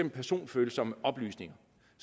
personfølsomme oplysninger